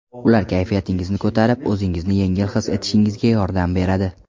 Ular kayfiyatingizni ko‘tarib, o‘zingizni yengil his etishingizga yordam beradi.